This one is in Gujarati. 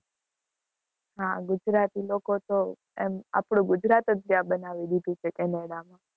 હા ગુજરાતી લોકો તો, એમ આપણું ગુજરાત જ ત્યાં બનાવી દીધું છે, ત્યાં કેનેડામાં